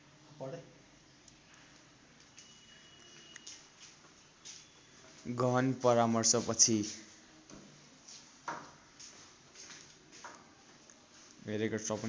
गहन परामर्श पछि